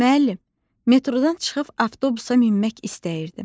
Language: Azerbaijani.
Müəllim, metroda çıxıb avtobusa minmək istəyirdim.